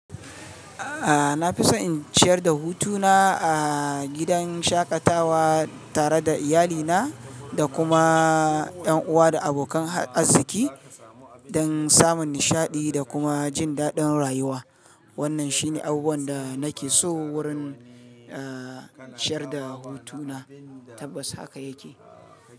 Ah, na fi so in ciyar da hutuna ah, gidan shaƙatawa tare da iyalina, da kuma ƴan uwa da abokan azziki, don samun nishaɗi da kuma jin daɗin rayuwa. Wannan shine abubuwan da nake so, wurin eh, ciyar da hutuna, tabbas haka yake.